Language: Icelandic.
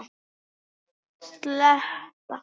Ég veit þú munt vaka yfir mér.